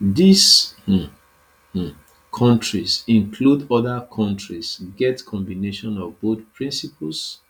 these um um kontris include oda kontris get combination of both principles